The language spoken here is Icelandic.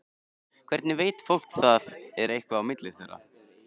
Hvernig veit fólk hvort það er eitthvað á milli þeirra?